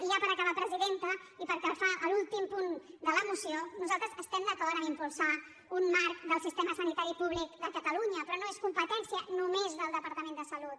i ja per acabar presidenta i pel que fa a l’últim punt de la moció nosaltres estem d’acord en impulsar un marc del sistema sanitari públic de catalunya però no és competència només del departament de salut